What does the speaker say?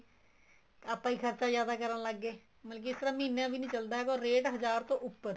ਆਪਾਂ ਹੀ ਖਰਚਾ ਜਿਆਦਾ ਕਰਨ ਲੱਗ ਗਏ ਮਤਲਬ ਕੀ ਇਸ ਤਰ੍ਹਾਂ ਮਹੀਨਾ ਵੀ ਨਹੀਂ ਚਲਦਾ ਹੈਗਾ or ਰੇਟ ਹਜ਼ਾਰ ਤੋਂ ਉੱਪਰ